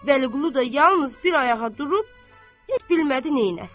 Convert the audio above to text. Vəliqulu da yalnız bir ayağa durub, heç bilmədi neyləsin.